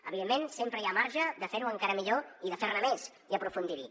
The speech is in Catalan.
evidentment sempre hi ha marge de fer ho encara millor i de fer ne més i aprofundir hi